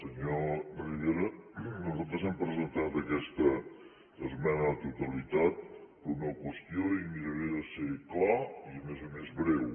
senyor rivera nosaltres hem presentat aquesta esmena a la totalitat per una qüestió i miraré de ser clar i a més a més breu